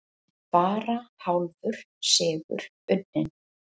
Bara hálfur sigur unninn